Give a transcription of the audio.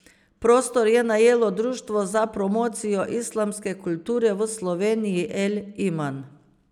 Prostor je najelo društvo za promocijo islamske kulture v Sloveniji El Iman.